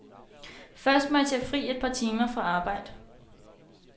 Først må jeg tage fri et par timer fra arbejde.